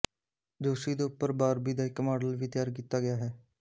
ਜੋਸ਼ੀ ਦੇ ਉੱਪਰ ਬਾਰਬੀ ਦਾ ਇੱਕ ਮਾਡਲ ਵੀ ਤਿਆਰ ਕੀਤਾ ਗਿਆ ਹੈ